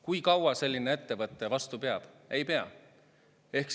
Kui kaua selline ettevõte vastu peab?